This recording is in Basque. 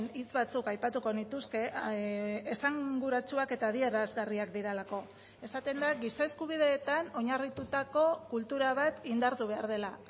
hitz batzuk aipatuko nituzke esanguratsuak eta adierazgarriak direlako esaten da giza eskubideetan oinarritutako kultura bat indartu behar dela